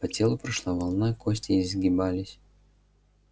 по телу прошла волна кости изгибались